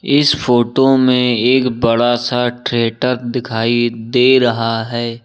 इस फोटो में एक बड़ा सा थिएटर दिखाई दे रहा है।